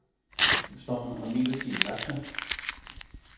Stormen har midlertidigt lagt sig.